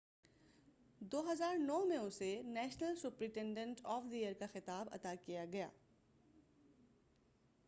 2009 میں اسے national superintendent of the year کا خطاب عطا کیا گیا